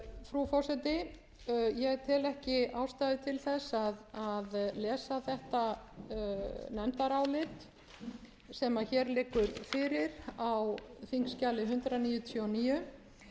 frú forseti ég tel ekki ástæðu til að lesa þetta nefndarálit sem hér liggur fyrir á þingskjali hundrað níutíu og níu og flutt er af háttvirtum viðskiptanefnd háttvirtir þingmenn